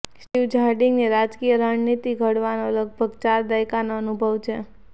Steve જાર્ડિંગને રાજકીય રણનીતિ ઘડવાનો લગભગ ચાર દાયકાનો અનુભવ છે